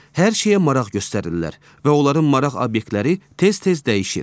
Hər şeyə maraq göstərirlər və onların maraq obyektləri tez-tez dəyişir.